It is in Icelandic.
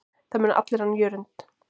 Það muna allir hann Jörund.